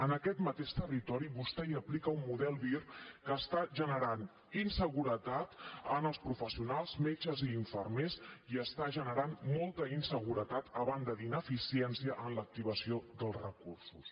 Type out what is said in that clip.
en aquest mateix territori vostè hi aplica un model vir que està generant inseguretat en els professionals metges i infermers i està generant molta inseguretat a banda d’ineficiència en l’activació dels recursos